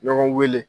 Ɲɔgɔn weele